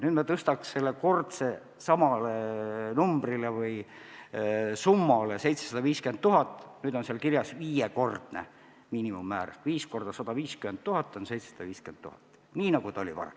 Nüüd me tõstaks selle summa kunstiteoste puhul tagasi 750 000 eurole ja seetõttu on seal kirjas viiekordne miinimummäär ehk 5 x 150 000 on 750 000 eurot, nii nagu ta oli varem.